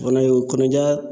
O fana ye o kɔnɔja